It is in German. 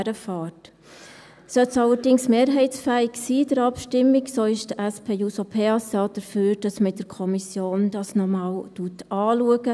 Sollte es in der Abstimmung allerdings mehrheitsfähig sein, wäre die SP-JUSO-PSA dafür, dass man das in der Kommission noch einmal anschaut.